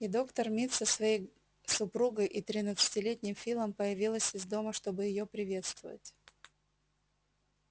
и доктор мид со своей супругой и тринадцатилетним филом появились из дома чтобы её приветствовать